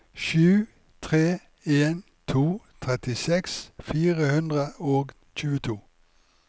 sju tre en to trettiseks fire hundre og tjueto